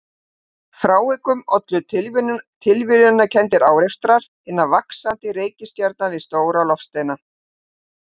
Frávikunum ollu tilviljanakenndir árekstrar hinna vaxandi reikistjarna við stóra loftsteina.